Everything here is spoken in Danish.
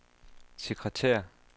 sekretær